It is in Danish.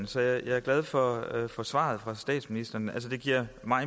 så jeg er glad for for svaret fra statsministeren altså det giver